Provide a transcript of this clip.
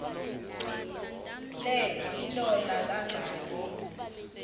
le ilola kangaka